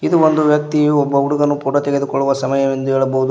ಇದು ಒಂದು ವ್ಯಕ್ತಿಯು ಒಬ್ಬ ಹುಡುಗನು ಫೋಟೋ ತೆಗೆದುಕೊಳ್ಳುವ ಸಮಯವೆಂದು ಹೇಳಬಹುದು.